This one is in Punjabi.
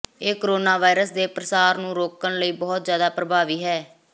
ਇਹ ਕੋਰੋਨਾ ਵਾਇਰਸ ਦੇ ਪ੍ਰਸਾਰ ਨੂੰ ਰੋਕਣ ਵਿਚ ਬਹੁਤ ਜ਼ਿਆਦਾ ਪ੍ਰਭਾਵੀ ਹੈ